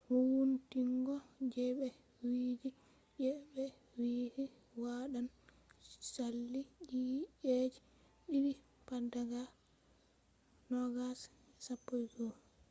wowuntingo je be wi'i je ɓe wi'i waɗan sali ci'eji ɗiɗi pat daga 2011